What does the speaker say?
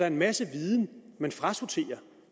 en masse viden man frasorterer